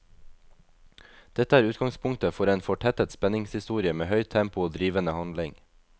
Dette er utgangspunktet for en fortettet spenningshistorie med høyt tempo og drivende handling.